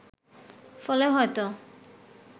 ফলে হয়ত